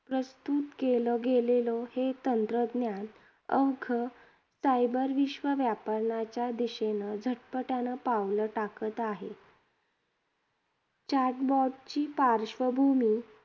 प्रस्तुत केलं गेलेलं हे तंत्रज्ञान, अवघं cyber विश्व वापरण्याच्या दिशेनं झटपट्यानं पावलं टाकत आहे. Chatbot ची पार्श्वभूमी